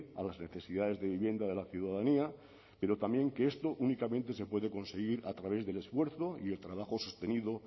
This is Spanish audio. a las necesidades de vivienda de la ciudadanía pero también que esto únicamente se puede conseguir a través del esfuerzo y el trabajo sostenido